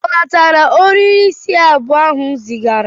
Ọ natara ohiri isi abụọ ahu m zigara?